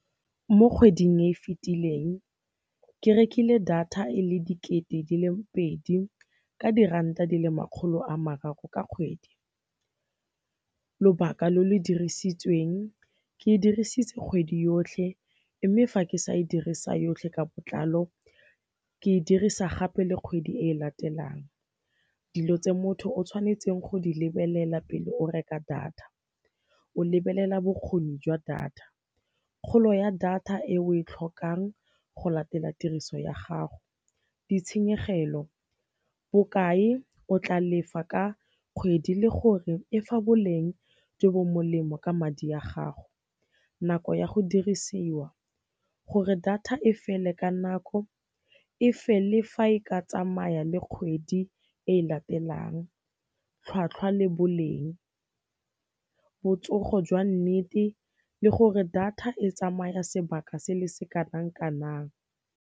Mo kgweding e e fetileng ke rekile data e le dikete di le pedi, ka diranta di le makgolo a mararo ka kgwedi. Lobaka lo lo dirisitsweng, ke dirisitse kgwedi yotlhe mme fa ke sa e dirisa yotlhe ka botlalo ke e dirisa gape le kgwedi e latelang. Dilo tse motho o tshwanetseng go di lebelela pele o reka data, o lebelela bokgoni jwa data, kgolo ya data e o e tlhokang, go latela tiriso ya gago. Ditshenyegelo, bokae o tla lefa ka kgwedi le gore e fa boleng jo bo molemo ka madi a gago. Nako ya go dirisiwa, gore data e fele ka nako e fela fa e ka tsamaya le kgwedi e latelang. Tlhwatlhwa le boleng, botsogo jwa nnete le gore data e tsamaya sebaka se le se kanang-kanang.